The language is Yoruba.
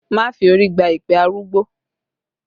Má fi orí gba èpè arúgbó!